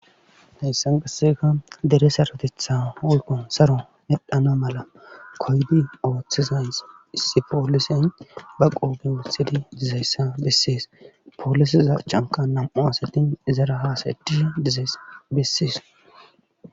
heyssan qasseka dere saratetha wolkon saro medhana mala koydi ooththizayn issi poolisen ba qooben wutthidi dizayssa bessees poolisiza chanka nam7u asatin izara haasadishe dizabessees